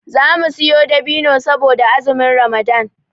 Zamu siyo dabino saboda azumin ramadan